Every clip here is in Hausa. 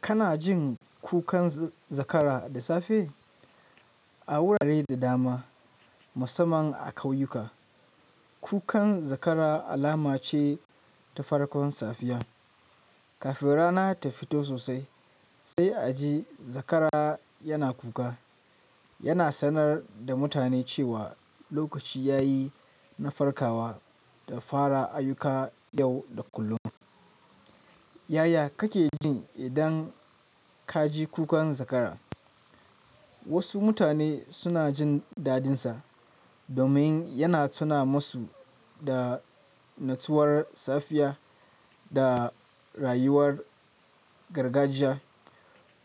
Kana jin kukan zakara da safe? A wurare da dama, musamman a kauyuka, kukan zakara alama ce ta farkon safiya. Kafin rana ta fito sosai, sai a ji zakara yana kuka. Yana sanar da mutane cewa lokaci ya yi na farkawa da fara ayyuka yau da kullum. Yaya kake jin idan ka ji kukan zakara? Wasu mutane suna jin dadinsa domin yana tuna masu da nutsuwar safiya da rayuwar gargajiya.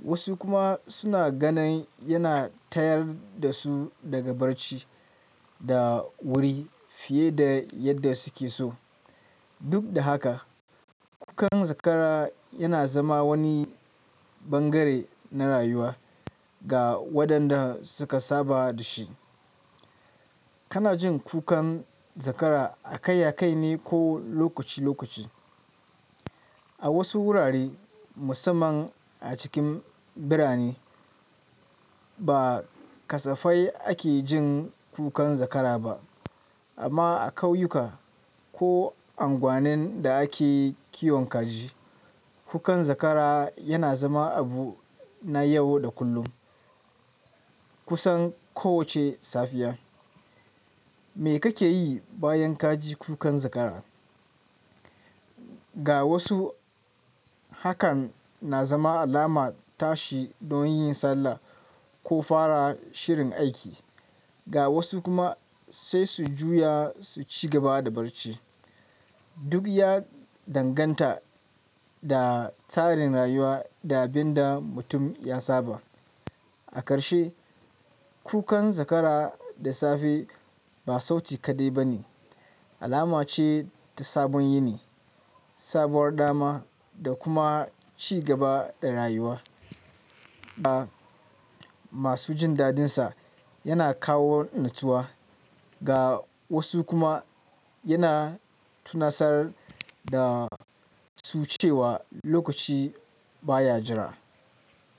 Wasu kuma suna ganin yana tayar da su daga barci da wuri fiye da yadda suke so. Duk da haka, kukan zakara yana zama wani bangare na rayuwa ga waɗanda suka saba da shi. Kana jin kukan zakara a kai a kai ne ko lokaci lokaci? A wasu wurare, musamman a cikin birane, ba kasafai ake jin kukan zakara ba. Amma a kauyuka ko unguwanin da ake kiwon kaji, kukan zakara yana zama abu na yau da kullum, kusan kowace safiya. Me kake yi bayan ka ji kukan zakara? Ga wasu, hakan na zama alama tashi don yin sallah ko fara shirin aiki. Ga wasu kuma, sai su juya su ci gaba da barci. Duk ya danganta da tsarin rayuwa da abin da mutum ya saba. A karshe, kukan zakara da safe ba sauti kaɗai ba ne. Alama ce ta sabon yini, sabuwar dama, da kuma ci gaba da rayuwa. Ga masu jin dadinsa, yana kawo nutsuwa, ga wasu kuma yana tunasar da su cewa lokaci baya jira.